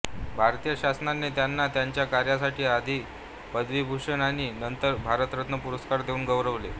भारतीय शासनाने त्यांना त्यांच्या कार्यासाठी आधी पद्मविभूषण आणि नंतर भारतरत्न पुरस्कार देऊन गौरवले